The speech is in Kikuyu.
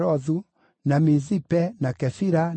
na Mizipe, na Kefira, na Moza,